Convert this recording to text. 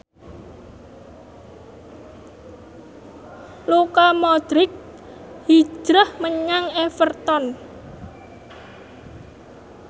Luka Modric hijrah menyang Everton